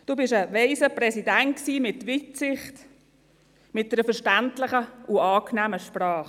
Sie waren ein weiser Präsident mit Weitsicht, mit einer verständlichen und angenehmen Sprache.